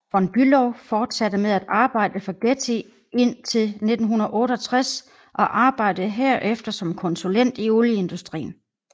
Von Bülow fortsatte med at arbejde for Getty indtil 1968 og arbejdede herefter som konsulent i olieindustrien